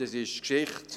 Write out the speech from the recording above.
diese sind Geschichte.